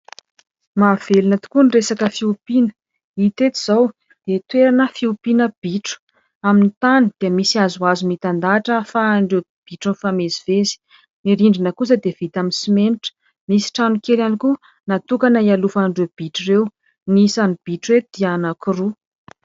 Mahavelona tokoa ny resaka fiompiana. Hita eto izao dia toerana fiompiana bitro ; amin'ny tany dia misy hazohazo mitandahatra ahafahan'ireto bitro mifamezivezy. Ny rindrina kosa dia vita amin'ny simenitra. Misy trano kely ihany koa natokana hialofan'ireo bitro ireo. Ny isan'ny bitro eto dia anankiroa.